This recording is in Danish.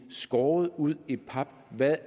skåret ud i pap hvad det